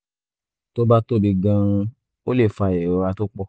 tó bá tóbi gan-an ó lè fa ìrora tó pọ̀